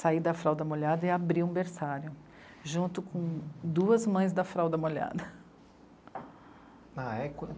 saí da fralda molhada e abri um berçário, junto com duas mães da fralda molhada. A é